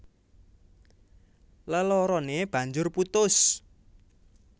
Leloroné banjur putus